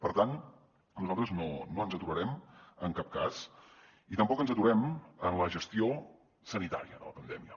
per tant nosaltres no ens aturarem en cap cas i tampoc ens aturem en la gestió sanitària de la pandèmia